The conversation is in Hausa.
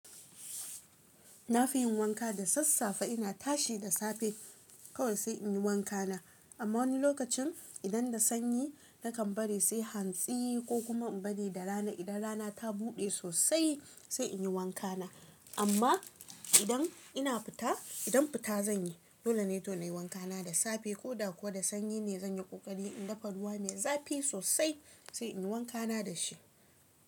Na fi yin wanka da sassafe ina tashi da safe kawai sai in yi wankana. Amma wani lokacin idan da sanyi nakan bari sai hantsi ko kuma in bari da rana idan rana ta buɗe sosai sai in yi wankana. Amma idan ina fita, idan fita zan yi. Dole ne to na yi wanka na da safe ko da ko da sanyi ne zan yi ƙoƙari in dafa ruwa mai zafi sosai sai in yi wankana da shi.